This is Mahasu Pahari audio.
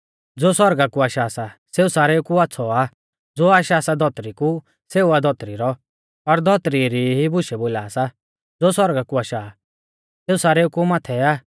ज़ो सौरगा कु आशा सा सेऊ सारेऊ कु आच़्छ़ौ आ ज़ो आशा सा धौतरी कु सेऊ आ धौतरी रौ और धौतरी री ई बुशै बोला सा ज़ो सौरगा कु आशा आ सेऊ सारेऊ कु माथै आ